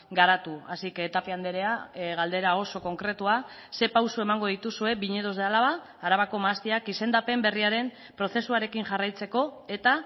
garatu así que tapia andrea galdera oso konkretua ze pauso emango dituzue viñedos de álava arabako mahastiak izendapen berriaren prozesuarekin jarraitzeko eta